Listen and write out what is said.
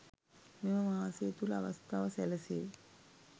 මෙම මාසය තුළ අවස්ථාව සැලසේ